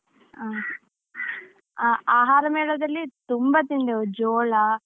ಹಾ, ಆಹಾರ ಮೇಳದಲ್ಲಿ ತುಂಬ ತಿಂದೆವು, ಜೋಳ.